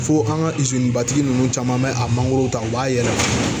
Fo an ka batigi ninnu caman bɛ a mangoro ta u b'a yɛlɛma